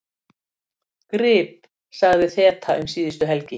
Grip sagði þeta um síðustu helgi: